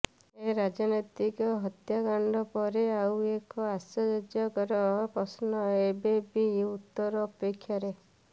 ଏ ରାଜନୈତିକ ହତ୍ୟାକାଣ୍ଡ ପରେ ଆଉ ଏକ ଆଶ୍ଚର୍ଯ୍ୟକର ପ୍ରଶ୍ନ ଏବେ ବି ଉତ୍ତର ଅପେକ୍ଷାରେ